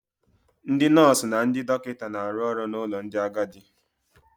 Ndị nọọsụ na ndị dọkịta na-arụ ọrụ n'ụlọ ndị agadi.